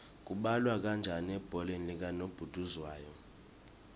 kubalwa kanjani ebholeni likanobhujuzwayo